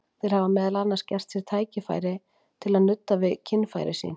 Þeir hafa meðal annars gert sér verkfæri til að nudda við kynfæri sín.